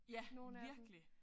Ja virkelig